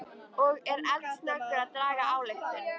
Og er eldsnöggur að draga ályktun.